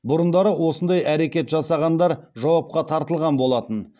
бұрындары осындай әрекет жасағандар жауапқа тартылған болатын